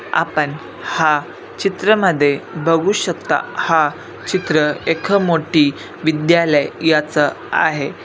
आपण हा चित्र मध्ये बघू शकता हा चित्र एक मोठी विद्यालय याच आहे.